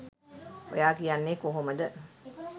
ඔයා කියන්නේ කොහොමද?